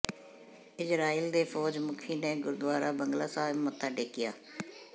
Israel ਦੇ ਫੌਜ ਮੁੱਖੀ ਨੇ ਗੁਰਦੁਆਰਾ ਬੰਗਲਾ ਸਾਹਿਬ ਮੱਥਾ ਟੇਕਿਆ